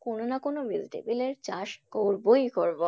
কোনো না কোনো vegetable এর চাষ করবোই করবো।